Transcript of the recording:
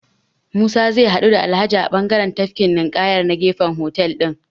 Musa zai haɗu da Alhaji a bangaren tafkin ninƙaya na gefen hotel ɗin.